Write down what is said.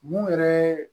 Mun yɛrɛ